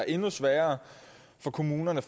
endnu sværere for kommunerne